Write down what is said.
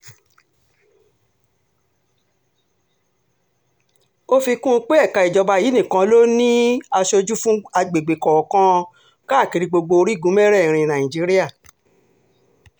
ó fi kún un pé ẹ̀ka ìjọba yìí nìkan ló ní um aṣojú fún àgbègbè kọ̀ọ̀kan um káàkiri gbogbo orígun mẹ́rẹ̀ẹ̀rin nàìjíríà